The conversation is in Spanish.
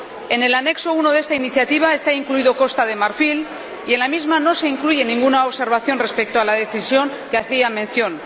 En el Anexo I de esta iniciativa está incluida Costa de Marfil y en la misma no se incluye ninguna observación respecto a la decisión a la que hacía mención.